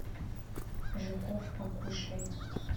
жуков покушай